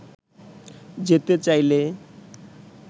যেতে চাইলে